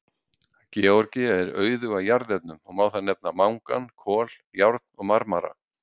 Georgía er auðug af jarðefnum og má þar nefna mangan, kol, járn og marmara.